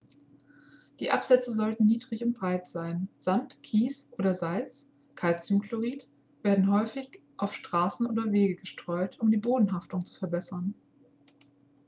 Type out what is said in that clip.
die absätze sollten niedrig und breit sein. sand kies oder salz calciumchlorid werden häufig auf straßen oder wege gestreut um die bodenhaftung zu verbessern